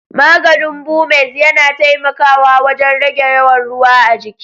Maganin Bumez yana taimakawa wajen rage yawan ruwa a jiki.